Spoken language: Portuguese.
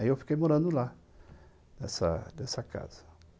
Aí eu fiquei morando lá, nessa nessa casa